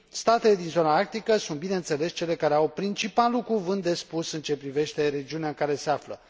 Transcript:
Statele din zona arctică sunt, bineînțeles, cele care au principalul cuvânt de spus în ce privește regiunea în care se află.